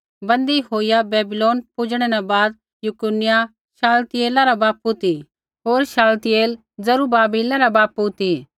बन्दी होईया बैबीलोन पुजणै न बाद यकुन्याह शालतियेला रा बापू ती होर शालतियेल जरूब्बाबिला रा बापू ती